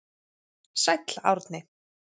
Sæll Árni.